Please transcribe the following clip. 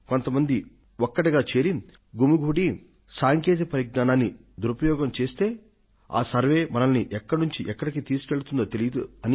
కొంత మంది ఒక్కటిగా చేరి గుమికూడి సాంకేతిక పరిజ్ఞానాన్ని నిరుపయోగం చేస్తే ఆ సర్వేక్షణ మనల్ని ఎక్కడి నుండి ఎక్కడకు తీసుకువెళ్తుందో తెలియదు